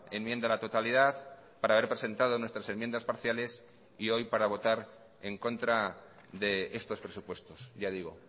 enmienda a la totalidad para haber presentado nuestras enmiendas parciales y hoy para votar en contra de estos presupuestos ya digo